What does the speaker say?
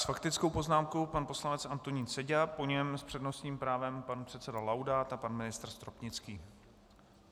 S faktickou poznámkou pan poslanec Antonín Seďa, po něm s přednostním právem pan předseda Laudát a pan ministr Stropnický.